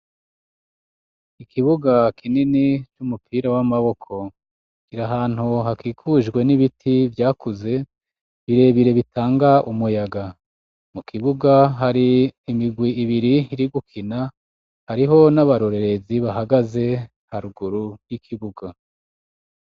Ikibuga kinini cumupira wamaboko kiri ahantu hakikujwe nibiti vyakuze birebire bitanga umuyaga, mu kibuga hari imigwi ibiri iri gukina hariho n'abarorerezi bahagaze haruguru yikibuga.